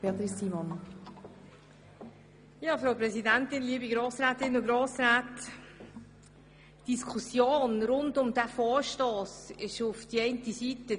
Die Diskussion über diesen Vorstoss erfolgt einerseits zu früh, aber anderseits auch zu spät.